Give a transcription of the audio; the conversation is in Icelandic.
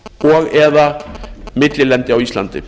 og eða millilendi á íslandi